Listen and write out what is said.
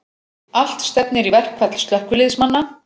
Allt stefnir í verkfall slökkviliðsmanna